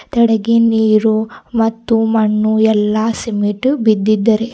ತೆಳಗ್ಗೆ ನೀರು ಮತ್ತು ಮಣ್ಣು ಎಲ್ಲಾ ಸಿಮೆಂಟ್ ಬಿದ್ದಿದ್ದರೆ.